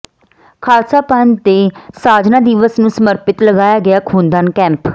ਖਾਲਸਾ ਪੰਥ ਦੇ ਸਾਜਨਾ ਦਿਵਸ ਨੂੰ ਸਮਰਪਿਤ ਲਗਾਇਆ ਗਿਆ ਖੂਨਦਾਨ ਕੈਂਪ